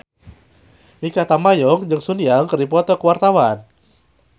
Mikha Tambayong jeung Sun Yang keur dipoto ku wartawan